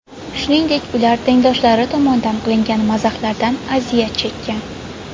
Shuningdek, ular tengdoshlari tomonidan qilingan mazahlardan aziyat chekkan.